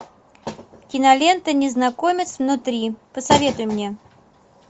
кинолента незнакомец внутри посоветуй мне